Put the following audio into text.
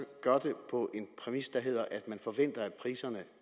gør det på en præmis der hedder at man forventer at priserne